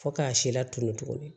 Fo k'a si latunu tugunni